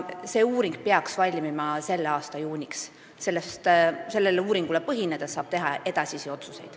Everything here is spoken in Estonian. See uuring peaks valmima selle aasta juuniks ja selle põhjal saab teha edasisi otsuseid.